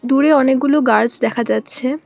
দূরে অনেকগুলো গাছ দেখা যাচ্ছে।